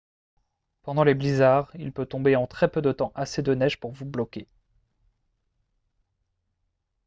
pendant les blizzards il peut tomber en très peu de temps assez de neige pour vous bloquer